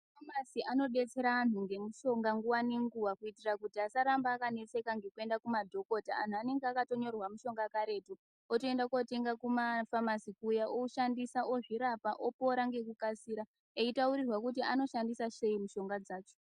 Mafamasi anodetsera antu ngemishonga nguwa ngenguwa kuitira kuti asaramba akanetseka ngekuenda kumadhokota. Antu anenge akatonyorerwa mishonga karetu, otoenda kotenga kumafamasi kuya, oshandisa ozvirapa opora ngekukasira eyitaurirwa kuti anoshandisa sei mishonga dzacho.